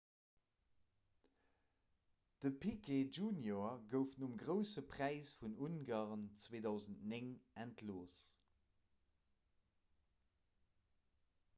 de piquet jr gouf nom grousse präis vun ungarn 2009 entlooss